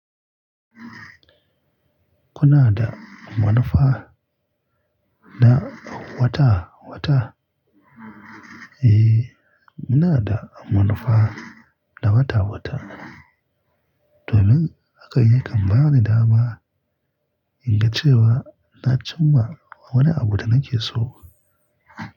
Kuna da manufa da wata wata? Eh, muna da manufa da wata wata. Domin hakan yakan ba ni da ma in ga cewa na cimma wani abu da nake so.